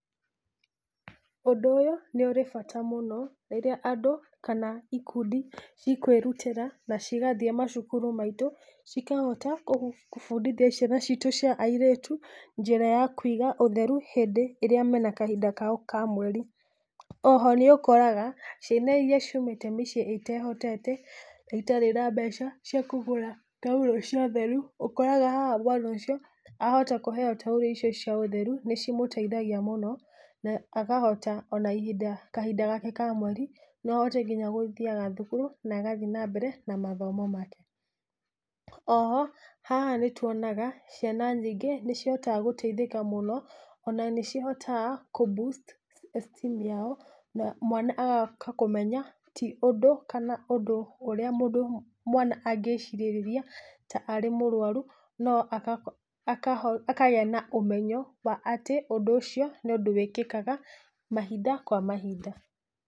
Ũndũ ũyũ, nĩũrĩ bata mũno, rĩrĩa andũ, kana ikundi cikwĩrutĩra, na cigathiĩ macukuru maitũ cikahota, kũbundithia ciana citũ cia airĩtu, njĩra ya kũiga ũtheru, hĩndĩ ĩrĩa mena kahinda kao ka mweri, oho nĩũkoraga, ciana iria ciumĩte mĩciĩ ĩtehotete, na itarĩ na mbeca, cia kũgũra taurũ cia ũtheru, ũkoraga haha mwana ũcio, ahota kũheo taurũ icio cia ũtheru, nĩcimũteithagia mũno na akahota ona ihinda, kahinda gake ka mweri, noahote nginya gũthiaga thukuru, na agathiĩ nambere na mathomo make, oho, haha nĩtuonaga ciana nyingĩ nĩcihotaga gũteithĩka mũno, ona nĩcihotaga kũ boost esteem yao, na mwana agoka kũmenya, ti ũndũ, kana ũndũ ũrĩa mũndũ, mwana angĩcirĩrĩria ta arĩ mũrwaru, no aga aka akagĩa na ũmenyo atĩ ũndũ ũcio nĩ ũndũ wĩkĩkaga mahinda kwa mahinda.